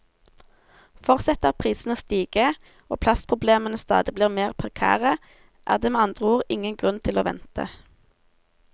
Fortsetter prisene å stige, og plassproblemene stadig blir mer prekære, er det med andre ord ingen grunn til å vente.